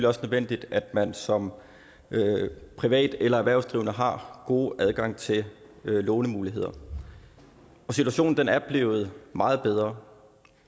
også nødvendigt at man som privat eller erhvervsdrivende har god adgang til lånemuligheder situationen er blevet meget bedre